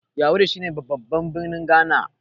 yawuri shi ne babban birnin Ghana